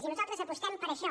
i nosaltres apostem per això